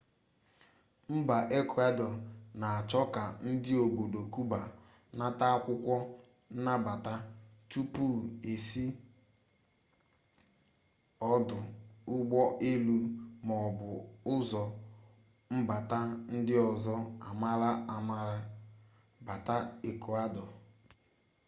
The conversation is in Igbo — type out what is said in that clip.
mba ekụadọ na-achọ ka ndi obodo kuba nata akwụkwọ nnabata tupu e si ọdụ ụgbọelu maọbu ụzọ mbata ndị ọzọ amaara amara bata ekụadọ